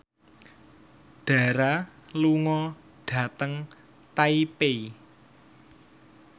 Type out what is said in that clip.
Dara lunga dhateng Taipei